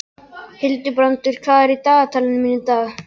Hildibrandur, hvað er á dagatalinu mínu í dag?